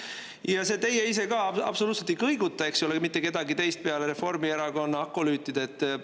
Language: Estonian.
Ja see "Teie ise ka" absoluutselt ei kõiguta, eks ole ju, mitte kedagi teist peale Reformierakonna akolüütide.